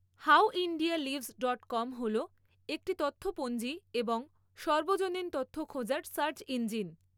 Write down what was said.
HowIndiaLives dot com হল একটি তথ্যপঞ্জী ও সর্বজনীন তথ্য খোঁজার সার্চ ইঞ্জিন।